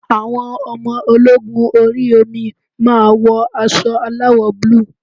Àwọn ọmọ ológun orí omi máa wọ aṣọ aláwọ̀ búlúù.